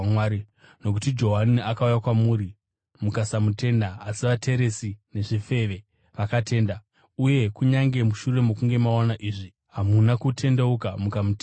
Nokuti Johani akauya kwamuri kuti azokuratidzai nzira yokururama, mukasamutenda, asi vateresi nezvifeve vakatenda. Uye kunyange mushure mokunge maona izvi hamuna kutendeuka mukamutenda.